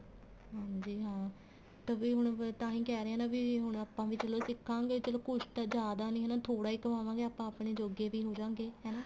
ਹਾਂਜੀ ਹਾਂ ਤਾਂਹੀ ਕਹਿ ਰਹੇ ਹਾਂ ਵੀ ਹੁਣ ਆਪਾਂ ਵੀ ਚਲੋਂ ਸਿਖਾਗੇ ਚਲੋਂ ਕੁੱਛ ਤਾਂ ਜਿਆਦਾ ਨਹੀਂ ਹਨਾ ਥੋੜਾ ਹੀ ਕ੍ਮਾਗੇ ਆਪਾਂ ਆਪਣੇ ਜੋਗੇ ਵੀ ਹੋਜਾਗੇ ਹਨਾ